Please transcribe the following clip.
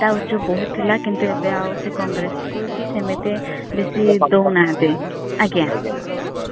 ତ ଉଛ ବହୁତ୍ ଥିଲା କିନ୍ତୁ ଏବେ ଆଉ ସେ congress କୁ ବି ସେମିତି ବେସି ଦୌନାହାନ୍ତି। ଆଜ୍ଞା। ସେଇ ଭଳି।